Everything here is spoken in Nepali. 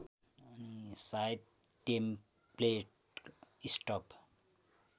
सायद टेम्प्लेट स्टब